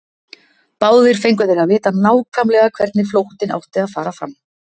Báðir fengu þeir að vita nákvæmlega hvernig flóttinn átti að fara fram.